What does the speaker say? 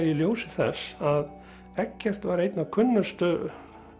í ljósi þess að Eggert var einn af kunnustu